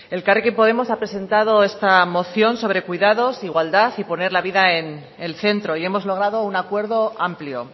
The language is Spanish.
elkarrekin podemos ha presentado esta moción sobre cuidados igualdad y poner la vida en el centro y hemos logrado un acuerdo amplio